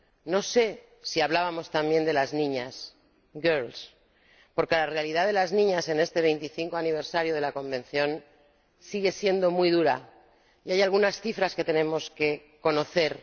no sé si hablábamos también de las niñas, porque la realidad de las niñas en este vigesimoquinto aniversario de la Convención sigue siendo muy dura y hay algunas cifras que tenemos que conocer.